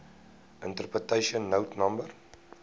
interpretation note no